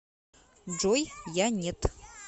джой я нет